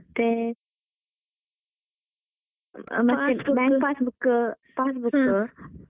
ಮತ್ತೆ bank passbook passbook .